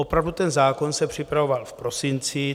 Opravdu, ten zákon se připravoval v prosinci.